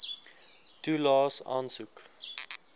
toelaes aansoek